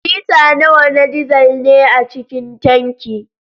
Lita nawa na dizal ne a cikin tanki?